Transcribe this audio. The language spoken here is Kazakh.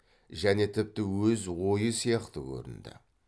және тіпті өз ойы сияқты көрінді